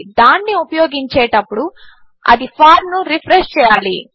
దానిని ఉపయోగించినప్పుడు అది ఫార్మ్ ను రిఫ్రెష్ చేయాలి